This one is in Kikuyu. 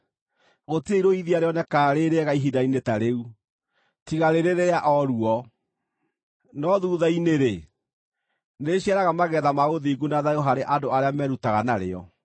Gũtirĩ irũithia rĩonekaga rĩ rĩega ihinda-inĩ ta rĩu, tiga rĩrĩ rĩa o ruo. No thuutha-inĩ-rĩ, nĩrĩciaraga magetha ma ũthingu na thayũ harĩ andũ arĩa merutaga narĩo.